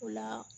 O la